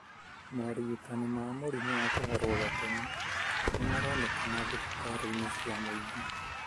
Morigitani ma mũrimũ wa kũharwo gatema nimaronekana dhibitarĩini cia mwingi.